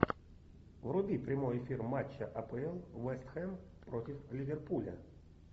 вруби прямой эфир матча апл вест хэм против ливерпуля